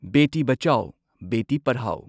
Beti Bachao Beti Padhao